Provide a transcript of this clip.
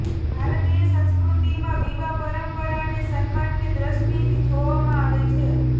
ભારતીય સંસ્કૃતિમાં વિવાહ પરમ્પરાને સમ્માનની દ્રષ્ટિથી જોવામાં આવે છે